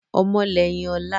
Ọmọ lẹ́yìn ọ̀la